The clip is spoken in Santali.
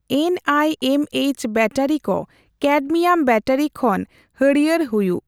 ᱮᱱᱹ ᱟᱭᱹ ᱮᱢ ᱹ ᱮᱭᱪ ᱵᱮᱴᱟᱨᱤᱠᱚ ᱠᱮᱰᱢᱤᱭᱟᱢ ᱵᱮᱴᱟᱨᱤ ᱠᱷᱚᱱ ᱦᱟᱹᱨᱭᱟᱹᱲ ᱦᱩᱭᱩᱜ ᱾